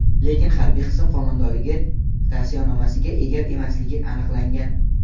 lekin harbiy qism qo‘mondonligi tavsiyanomasiga ega emasligi aniqlangan.